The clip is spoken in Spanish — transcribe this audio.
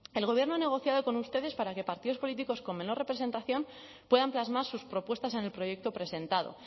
el gobierno ha negociado con ustedes para que partidos políticos con menor representación puedan plasmar sus propuestas en el proyecto presentado